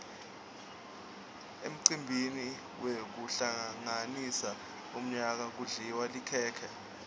emcimbini wekuhlanganisa umyaka kudliwa likhekhe